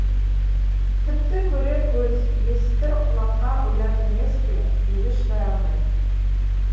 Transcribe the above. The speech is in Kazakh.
тіпті көрер көз естір құлаққа ұят емес пе деді шыдай алмай